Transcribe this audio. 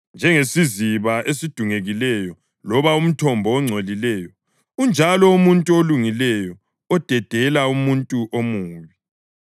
Njengesiziba esidungekileyo loba umthombo ongcolileyo unjalo umuntu olungileyo odedela umuntu omubi.